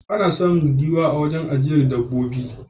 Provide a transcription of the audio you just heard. Ana samun giwa a wurin ajiyar dabbobin jeji.